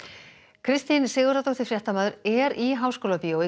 Kristín Sigurðardóttir fréttamaður er í Háskólabíói